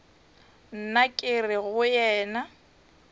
nna ke re go wena